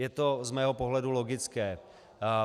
Je to z mého pohledu logické.